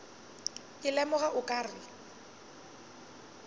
ke lemoga o ka re